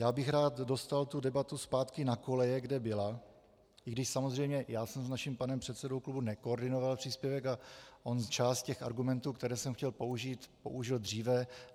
Já bych rád dostal tu debatu zpátky na koleje, kde byla, i když samozřejmě já jsem s naším panem předsedou klubu nekoordinoval příspěvek a on část těch argumentů, které jsem chtěl použít, použil dříve.